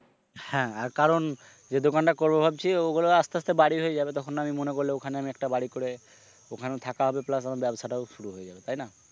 হ্যাঁ, আর কারণ যে দোকানটা করব ভাবছি ওগুলো আস্তে আস্তে বাড়ি হয়ে যাবে তখন আমি মনে করলে ওখানে আমি একটা বাড়ি করে ওখানে থাকা হবে plus ওখানে ব্যবসাটাও শুরু হয়ে যাবে তাই না?